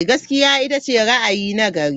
Gaskiya ita ce ra'ayi na gari.